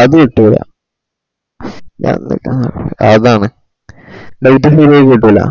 അത് കിട്ടൂല അഹ് അതാണ് date ഉം ശരിയായി കിട്ടൂല